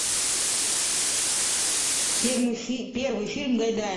первый фильм гайдая